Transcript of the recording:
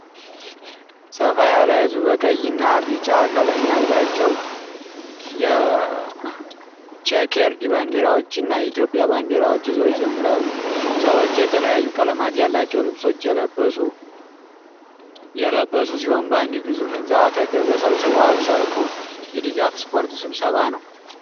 ሰፋ ያለ ህዝብ በቀይ እና ቢጫ ቀለም ያላቸው ቼከርድ ባንዲራዎች እንዲሁም የኢትዮጵያ ባንዲራዎችን ይዘው ይዘምራሉ። ሰዎች የተለያዩ ቀለማት ያላቸው ልብሶች የለበሱ ሲሆን በአንድ ግዙፍ ሕንፃ አጠገብ ተሰብስበዋል። ሰልፉ የድጋፍ ስፖርት ስብሰባ ነው?